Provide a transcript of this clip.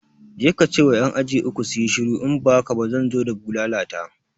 Je kace wa ƴan aji uku suyi shiru in ba haka ba zan zo da bulala ta